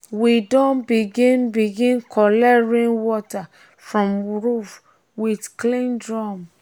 we don begin begin collect rainwater from roof with clean drum.